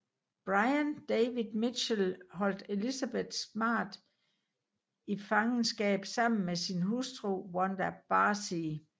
Brian David Mitchell holdt Elizabeth smart i fangeskab sammen med sin hustru Wanda Barzee